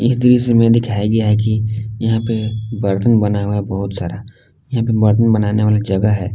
इस दृश्य में दिखाया गया है कि यह पे बर्तन बना हुआ है बहुत सारा यहां पे बर्तन बनाने वाला जगह है।